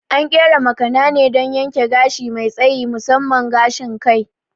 An ƙera makana ne don yanke gashi mai tsayi, musamman gashin kai.